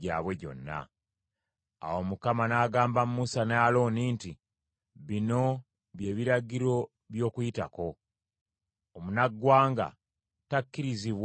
Awo Mukama n’agamba Musa ne Alooni nti, “Bino by’ebiragiro by’Okuyitako: “Omunaggwanga takkirizibwa kugiryako.